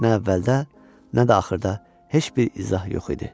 Nə əvvəldə, nə də axırda heç bir izah yox idi.